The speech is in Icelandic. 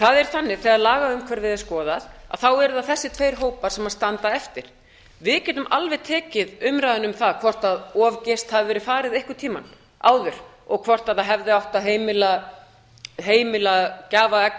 það er þannig þegar lagaumhverfið er skoðað eru það þessir tveir hópar sem standa eftir við getum alveg tekið umræðuna um það hvort of geyst hafi verið farið einhvern tímann áður og hvort það hefði átt að heimila gjafaegg og